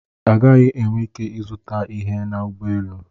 Ị gaghị enwe ike ịzụta ihe na ụgbọ elu.